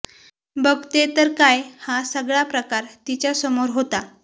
बघते तर काय हा सगळा प्रकार तिच्या समोर होता